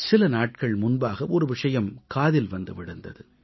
சில நாட்கள் முன்பாக ஒரு விஷயம் காதில் வந்து விழுந்தது